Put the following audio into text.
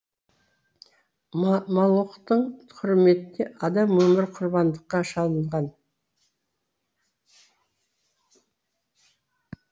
молохтың құрметіне адам өмірі құрбандыққа шалынған